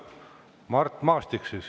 Mart Maastik siis.